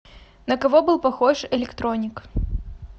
на кого был похож электроник